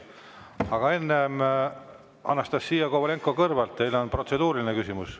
Aga enne, Anastassia Kovalenko-Kõlvart, teil on protseduuriline küsimus.